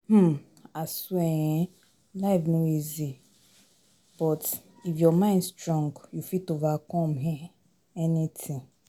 um Aswear um life no easy but if your mind strong, you fit overcome um anything